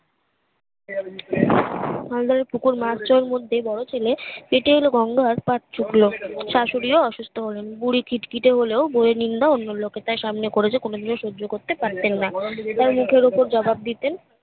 খাল ধরে পুকুর পাঁচজনের মধ্যে বড় ছেলে পেতে এলো গঙ্গার পাথ চুকলো শাশুড়িও অসুস্থ হলেন বুড়ি খিটখিটে হলেও বৌ এর নিন্দা অন্য লোকের সামনে করেছে কোনোদিন সহ্য করতে পারতেন না তাই মুখের উপর জবাব দিতেন